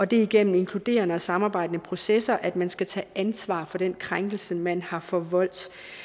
det er gennem inkluderende og samarbejdende processer at man skal tage ansvar for den krænkelse man har forvoldt